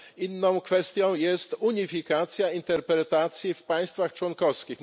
Inną kwestią jest unifikacja interpretacji w państwach członkowskich.